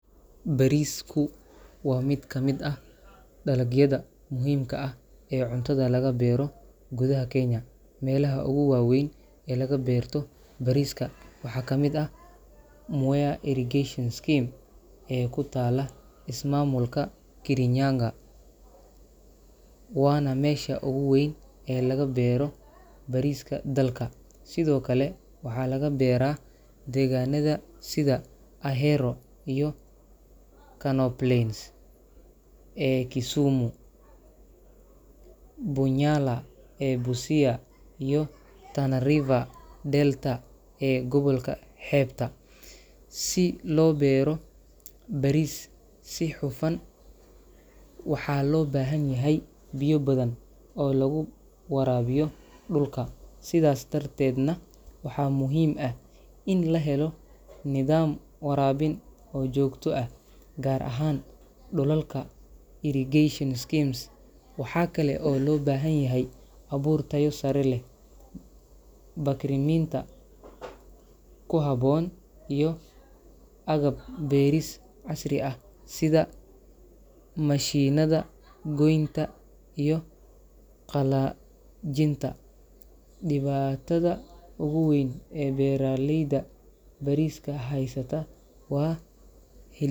Bariisku waa mid ka mid ah dalagyada muhiimka ah ee cuntada laga beero gudaha Kenya. Meelaha ugu waaweyn ee laga beerto bariiska waxaa ka mid ah Mwea Irrigation Scheme ee ku taalla ismaamulka Kirinyaga, waana meesha ugu weyn ee laga beero bariiska dalka. Sidoo kale, waxaa laga beeraa deegaanada sida Ahero iyo Kano Plains ee Kisumu, Bunyala ee Busia, iyo Tana River Delta ee gobolka xeebta. Si loo beero bariis si hufan, waxaa loo baahan yahay biyo badan oo lagu waraabiyo dhulka, sidaas darteedna waxaa muhiim ah in la helo nidaam waraabin oo joogto ah, gaar ahaan dhulalka irrigation schemes. Waxaa kale oo loo baahan yahay abuur tayo sare leh, bacriminta ku habboon, iyo agab beeris casri ah sida mashiinada goynta iyo qallajinta. Dhibaatada ugu weyn ee beeralayda bariiska haysata waa hel.